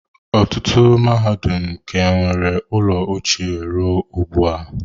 Ọtụtụ mahadum ka nwere ụlọ ochie ruo taa.